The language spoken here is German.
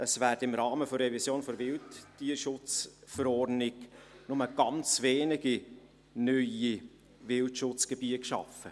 Es werden im Rahmen der Revision der WTSchV nur ganz wenige neue Wildschutzgebiete geschaffen.